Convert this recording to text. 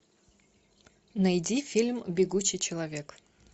найди фильм бегущий человек